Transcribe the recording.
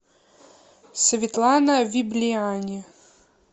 светлана виблиани